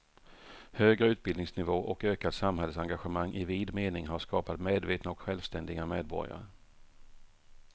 Högre utbildningsnivå och ökat samhällsengagemang i vid mening har skapat medvetna och självständiga medborgare.